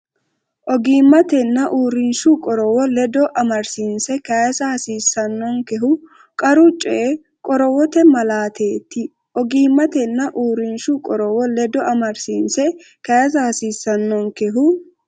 Ogimmatenna uurrinshu qorowo ledo amadisiinse kayisa hasiissan- nonkehu qaru coyi qorowote malaateet Ogimmatenna uurrinshu qorowo ledo amadisiinse kayisa hasiissan- nonkehu.